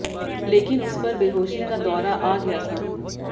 लेकिन उस पर बेहोशी का दौरा आ गया था